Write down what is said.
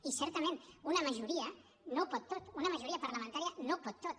i certament una majoria no ho pot tot una majoria parlamentària no ho pot tot